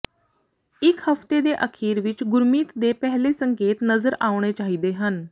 ਇੱਕ ਹਫਤੇ ਦੇ ਅਖੀਰ ਵਿੱਚ ਗੁਰਮਿਤ ਦੇ ਪਹਿਲੇ ਸੰਕੇਤ ਨਜ਼ਰ ਆਉਣੇ ਚਾਹੀਦੇ ਹਨ